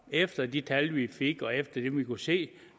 efter de tal vi fik og efter det vi kunne se